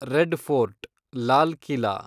red fort (Lal Qila)